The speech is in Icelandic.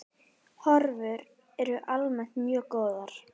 Horfur eru almennt mjög góðar.